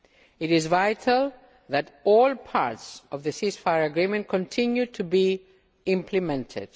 It is vital that all parts of the ceasefire agreement continue to be implemented.